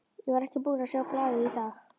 Ég var ekki búinn að sjá blaðið í dag.